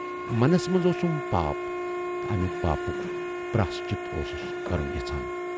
منَس منز اوسُم پاپھ تہٕ امہِ پاپُک پراشچِت اوسُس کَرُن یژھان۔